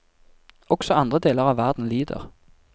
Også andre deler av verden lider.